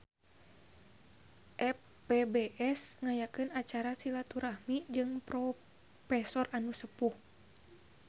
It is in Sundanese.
FPBS ngayakeun acara silaturahmi jeung profesor anu sepuh